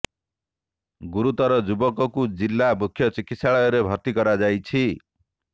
ଗୁରୁତର ଯୁବକ କୁ ଜିଲ୍ଲା ମୁଖ୍ୟ ଚିକିତ୍ସାଳୟରେ ଭର୍ତ୍ତି କରାଯାଇଛି